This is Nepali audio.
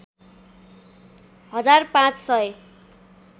हजार ५ सय